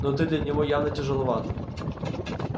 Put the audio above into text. но ты для него явно тяжеловат